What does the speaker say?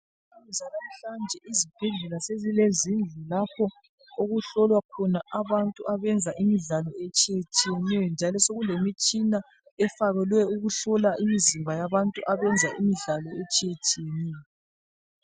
Ezanamuhlanje izibhedlela sezilezindlu ezihlola avantu abenza imidlalo etshiyeneyo njalo sokulemitshina efakelwe ukuhlola imizimba yabantu abenza imidlalo etshiyeneyo